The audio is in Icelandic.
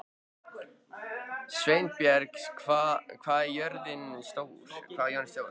Sveinberg, hvað er jörðin stór?